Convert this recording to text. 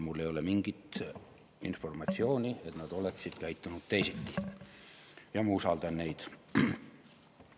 Mul ei ole mingit informatsiooni, et nad oleksid käitunud teisiti, ja ma usaldan neid.